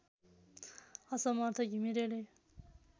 असमर्थ घिमिरेले